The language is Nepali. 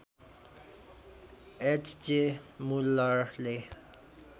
H J मुलरले